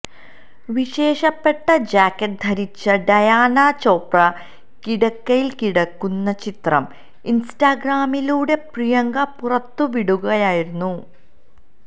വിശേഷപ്പെട്ട ജാക്കറ്റ് ധരിച്ച് ഡയാന ചോപ്ര കിടക്കയില് കിടക്കുന്ന ചിത്രം ഇന്സ്റ്റാഗ്രാമിലുടെ പ്രിയങ്ക പുറത്തു വിടുകയായിരുന്നു